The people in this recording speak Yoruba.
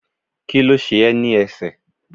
Kíló ṣe ẹ́ ní ẹsẹ̀?